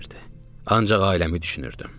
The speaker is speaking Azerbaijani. Ancaq ailəmi düşünürdüm.